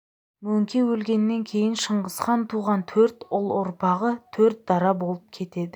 мөңке өлгеннен кейін шыңғыстан туған төрт ұл ұрпағы төрт дара болып кетеді